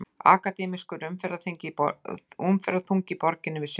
Akademískur umferðarþungi í borginni við sumarlok